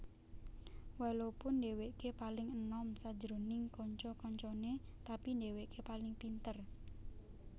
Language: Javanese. Walopun dheweke paling enom sajroning kanca kancane tapi dheweke paling pinter